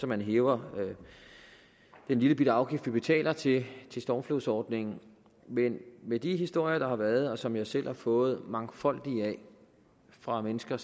man hæver den lillebitte afgift vi betaler til stormflodsordningen men med de historier der har været og som jeg selv har fået mangfoldige af fra mennesker